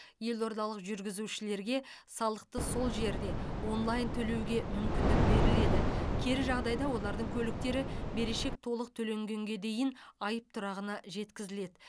елордалық жүргізушілерге салықты сол жерде онлайн төлеуге мүмкіндік беріледі кері жағдайда олардың көліктері берешек толық төленгенге дейін айып тұрағына жеткізіледі